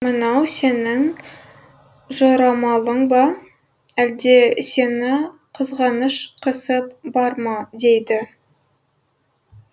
мынау сенің жорамалың ба әлде сені қызғаныш қысып бар ма дейді